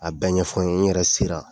A bɛ ɲɛfɔ n yen n yɛrɛ sera.